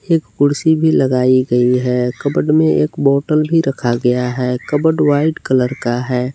एक कुर्सी भी लगाई गई है कबड में एक बॉटल भी रखा गया है कबड वाइट कलर का है।